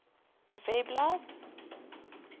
webblad